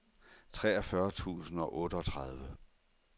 treogfyrre tusind og otteogtredive